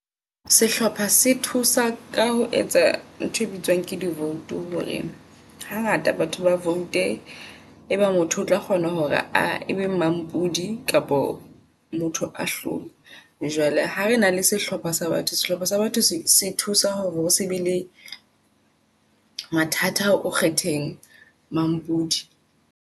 Sehlopha se thusa ka ho etsa ntho e bitswang ke di vote hore hangata batho ba vote-e. Ebe motho o tla kgona hore a ebe mampudi kapo motho a hlolwe. Jwalale ha re na le sehlopha sa batho sehlopha sa batho se se thusa hore o se be le mathata o kgetheng mampudi.